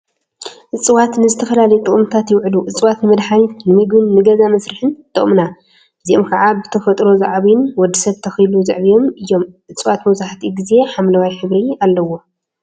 እፅዋት ንዝተፈላለዩ ጥቅሚታት ይውዕሉ፡፡ እፅዋት ንመድሓኒት፣ ንምግቢን ንገዛ መስርሒን ይጠቅሙና፡፡ እዚኦም ከዓ ብተፈጥሮ ዝዓብዩን ወድ ሰብ ተኪሉ ዘዕብዮም እዮም፡፡ እፅዋት መብዛሕትኡ ግዜ ሓምለዋይ ሕብሪ አለዎም፡፡